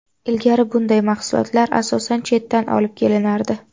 Ilgari bunday mahsulotlar asosan chetdan olib kelinardi.